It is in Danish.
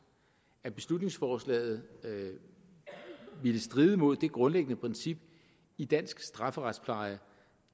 at beslutningsforslaget ville stride imod det grundlæggende princip i dansk strafferetspleje